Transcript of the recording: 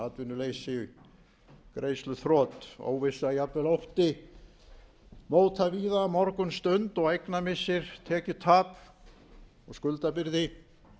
atvinnuleysi greiðsluþrot óvissa jafnvel ótti móta víða morgunstund og eignamissir tekjutap og skuldabyrði